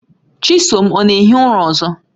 Chisom ọ na-ehi ụra ọzọ?